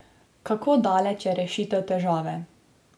Kako daleč je rešitev težave?